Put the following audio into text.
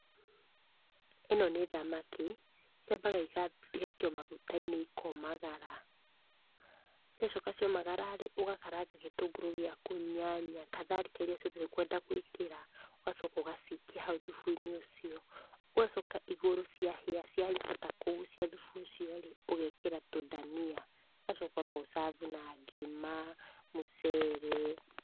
Ĩno nĩ thamaki, ciambaga igaikio maguta-inĩ ikomagara. Ciacoka ciomagara-rĩ, ũgakaranga gĩtũngũrũ gĩaku, nyanya, katharika iria ciothe ũkwenda gũĩkĩra, ũgacoka ũgacikia hau thubu-inĩ ũcio. Ũgacoka igũrũ ciahĩa ciahota kũgũcia thubu ũcio-rĩ, ũgekĩra tũndania. Ũgacoka no ũ serve u na ngima, mũcere.